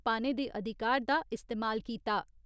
पाने दे अधिकार दा इस्तेमाल कीता।